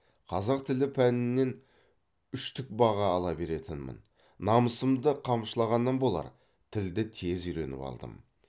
қазақ тілі пәнінен үштік баға ала беретінмін намысымды қамшылағаннан болар тілді тез үйреніп алдым